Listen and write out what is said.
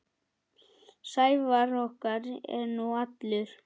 Sævar okkar er nú allur.